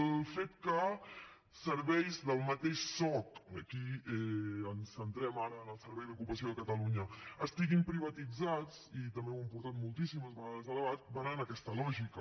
el fet que serveis del mateix soc aquí ens centrem ara en el servei d’ocupació de catalunya estiguin privatitzats i també ho hem portat moltíssimes vegades a debat va en aquesta lògica